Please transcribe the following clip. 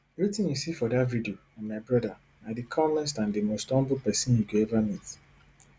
wetin you see for dat video na my brother na di calmest and di most humble pesin you go ever meet